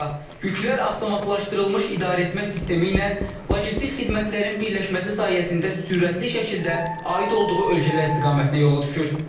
Yüklər avtomatlaşdırılmış idarəetmə sistemi ilə logistik xidmətlərin birləşməsi sayəsində sürətli şəkildə aid olduğu ölkələr istiqamətinə yola düşür.